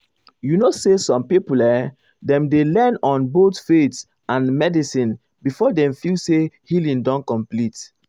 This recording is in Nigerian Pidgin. you know say some people[um]dem dey lean on both faith and medicine before dem feel say healing don complete.